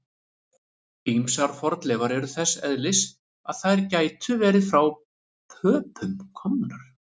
Ýmsar fornleifar eru þess eðlis að þær gætu verið frá Pöpum komnar.